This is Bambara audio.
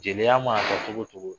Jeliya ma fɔ cogo o cogo